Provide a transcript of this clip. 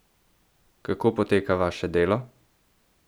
Kako poteka vaše delo?